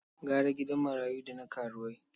Gara gidan marayu da na karuwai.